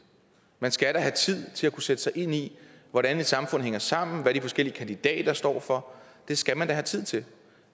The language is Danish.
man skal have tid til at kunne sætte sig ind i hvordan et samfund hænger sammen hvad de forskellige kandidater står for det skal man da have tid til